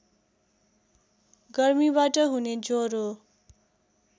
गर्मीबाट हुने ज्वरो